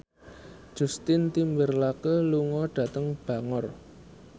Justin Timberlake lunga dhateng Bangor